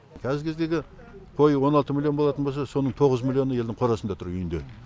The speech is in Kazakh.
қазіргі кездегі қой он алты миллион болатын болса соның тоғыз миллионы елдің қорасында тұр үйінде